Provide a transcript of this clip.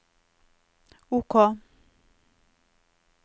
OK